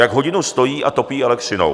Jak hodinu stojí a topí elektřinou.